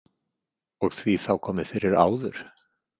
Og því þá komið fyrir áður?